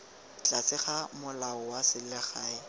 tlase ga molao wa selegae